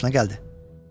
Bəlkə xoşuna gəldi.